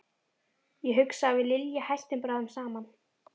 Ég hugsa að við Lilja hættum bráðum saman.